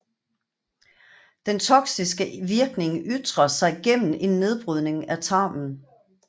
Den toxiske virkning ytrer sig gennem en nedbrydning af tarmen